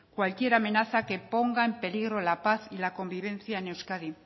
cualquier amenaza que ponga en peligro la paz y la convivencia en euskadi